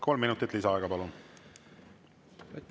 Kolm minutit lisaaega, palun!